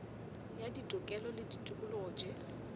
ya ditokelo le ditokologo tše